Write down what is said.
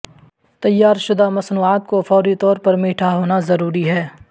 تیار شدہ مصنوعات کو فوری طور پر میٹھا ہونا ضروری ہے